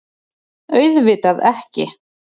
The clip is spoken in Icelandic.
Auðvitað ekki.